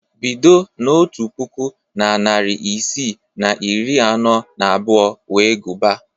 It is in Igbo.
Bido n'otu puku na narị isii na iri anọ na abụọ wee gụbaa